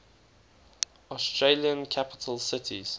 australian capital cities